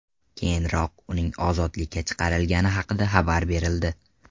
Keyinroq uning ozodlikka chiqarilgani haqida xabar berildi .